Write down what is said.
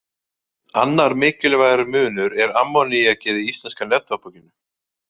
Annar mikilvægur munur er ammoníakið í íslenska neftóbakinu.